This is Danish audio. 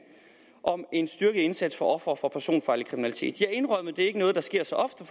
om en styrket indsats over for ofre for personfarlig kriminalitet ja indrømmet det er ikke noget der sker så ofte